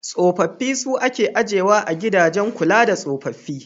Tsofaffi su ake ajiyewa a gidajen kula da tsofaffi.